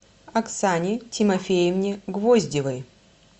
оксане тимофеевне гвоздевой